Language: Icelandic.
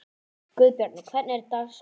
Guðbjarni, hvernig er dagskráin?